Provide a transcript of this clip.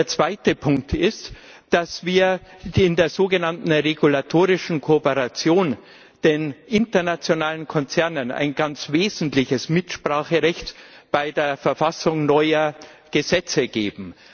Der zweite Punkt ist, dass wir in der sogenannten regulatorischen Kooperation den internationalen Konzernen ein ganz wesentliches Mitspracherecht beim Verfassen neuer Gesetze geben.